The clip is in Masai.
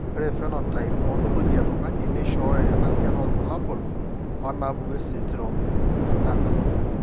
Ore ephenotype ontology etung'ani neishooyo enasiana oorbulabul onaapuku esindirom eTurner.